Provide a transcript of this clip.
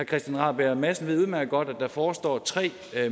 christian rabjerg madsen ved udmærket godt at der forestår tre